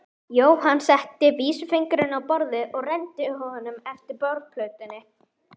Jóhann setti vísifingurinn á borðið og renndi honum eftir borðplötunni.